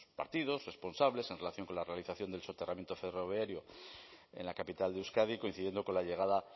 partidos responsables en relación con la realización del soterramiento ferroviario en la capital de euskadi coincidiendo con la llegada